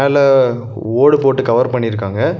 துல ஓடு போட்டு கவர் பண்ணிருக்காங்க.